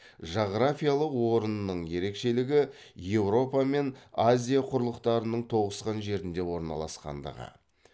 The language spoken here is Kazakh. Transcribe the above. жағрафиялық орнының ерекшелігі еуропа мен азия құрлықтарының тоғысқан жерінде орналасқандығы